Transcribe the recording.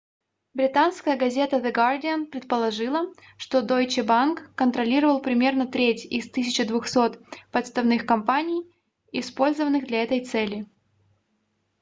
британская газета the guardian предположила что deutsche bank контролировал примерно треть из 1200 подставных компаний использованных для этой цели